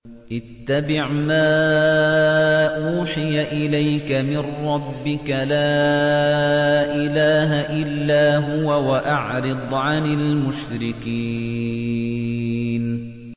اتَّبِعْ مَا أُوحِيَ إِلَيْكَ مِن رَّبِّكَ ۖ لَا إِلَٰهَ إِلَّا هُوَ ۖ وَأَعْرِضْ عَنِ الْمُشْرِكِينَ